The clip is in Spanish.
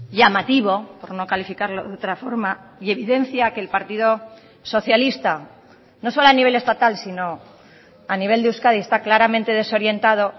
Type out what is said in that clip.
llamativo por no calificarlo de otra forma y evidencia a que el partido socialista no solo a nivel estatal sino a nivel de euskadi está claramente desorientado